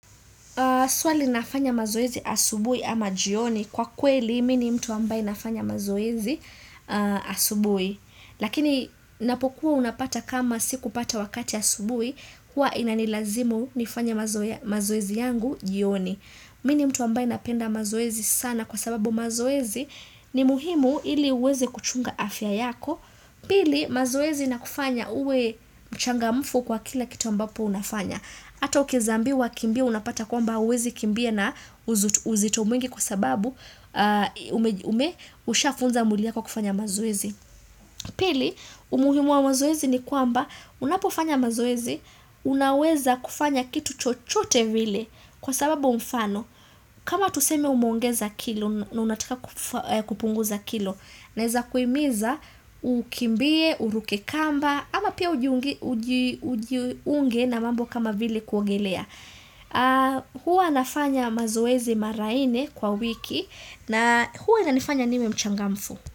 Swali nafanya mazoezi asubui ama jioni kwa kweli mi ni mtu ambaye nafanya mazoezi asubui. Lakini napokuwa unapata kama sikupata wakati asubui huwa inanilazimu nifanye mazoezi yangu jioni. Mi ni mtu ambaye napenda mazoezi sana kwa sababu mazoezi ni muhimu ili uweze kuchunga afya yako. Pili mazoezi inakufanya uwe mchangamfu kwa kila kitu ambapo unafanya. Ata ukieza ambiwa kimbia unapata kwamba huwezi kimbia na uzito mwingi kwa sababu ume ushafunza mwili yako kufanya mazoezi. Pili, umuhimu waa mazoezi ni kwamba unapofanya mazoezi, unaweza kufanya kitu chochote vile kwa sababu mfano. Kama tuseme umeongeza kilo na unataka kupunguza kilo Naeza kuimiza ukimbie, uruke kamba ama pia ujiunge na mambo kama vili kuogelea Hua nafanya mazoezi mara ine kwa wiki na huwa inanifanya niwe mchangamfu.